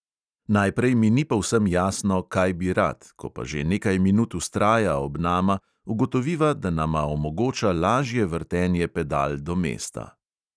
Najprej mi ni povsem jasno, kaj bi rad, ko pa že nekaj minut vztraja ob nama, ugotoviva, da nama omogoča lažje vrtenje pedal do mesta.